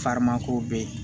ko bɛ ye